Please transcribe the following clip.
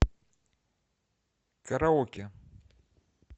караоке